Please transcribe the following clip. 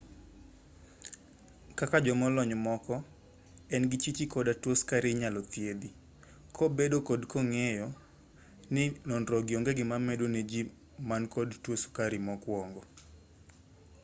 kaka jomolony moko en gi chichi koda tuo sukari inyalo thiedhi kobedo kod ng'eyo ni nonrogi onge gima medo ne jii man kod tuo sukari mokwongo